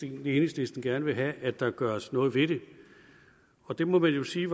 enhedslisten gerne vil have at der gøres noget ved det og det må man jo sige